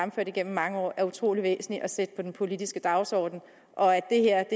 i mange år er utrolig væsentligt at sætte på den politiske dagsorden og at det her